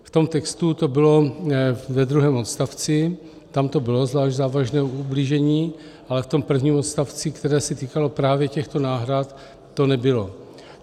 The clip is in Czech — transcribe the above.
V tom textu to bylo ve druhém odstavci, tam to bylo zvlášť závažné ublížení, ale v tom prvním odstavci, které se týkalo právě těchto náhrad, to nebylo.